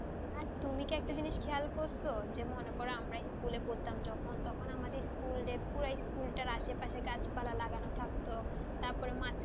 আর তুমি কি একটা জিনিস খেয়াল করেছো যে মনে করো আমরা school পড়তাম যখন, তখন আমাদের স্কুলটার আশেপাশে গাছপালা লাগানো থাকততারপর মাঝখানে,